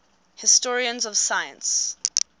historians of science